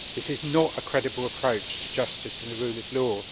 This is not a credible approach to justice and the rule of law.